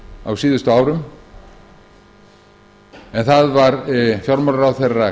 á síðustu árum en það var fjármálaráðherra